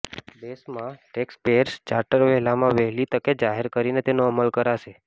દેશમાં taxpayers charter વહેલામાં વહેલી તકે જાહેર કરીને તેનો અમલ કરાશે